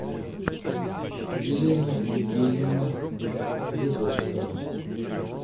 елена евгеньевна вязовская